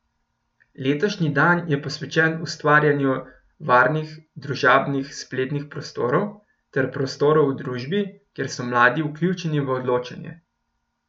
Letošnji dan je posvečen ustvarjanju varnih družabnih spletnih prostorov ter prostorov v družbi, kjer so mladi vključeni v odločanje.